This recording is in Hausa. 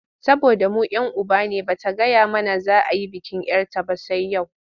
Saboda mu 'yan uba ne ba ta gaya mana za a yi bikin 'yar ta ba sai yau?